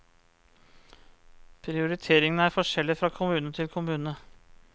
Prioriteringen er forskjellig fra kommune til kommune.